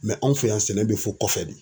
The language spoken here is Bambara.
Mɛ anw fɛ yan, sɛnɛ be fɔ kɔfɛ de.